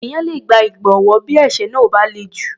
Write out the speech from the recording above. Ènìyàn le gba ìgbọ̀wọ́ bí ẹ̀ṣẹ̀ náà ò bá le jù.